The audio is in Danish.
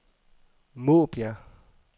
Måbjerg